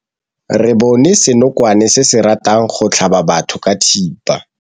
Re bone senokwane se se ratang go tlhaba batho ka thipa.